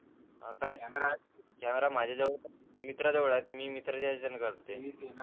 अं काय? कॅमेरा माझ्या जवळ होता. पण मित्रा जवळ आहे, आता मित्राच्या कॅमेरा मधून काढतोय.